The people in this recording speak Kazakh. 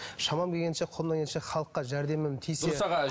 шамам келгенше қолымнан келгенше халыққа жәрдемім тисе